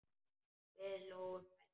Við hlógum bæði.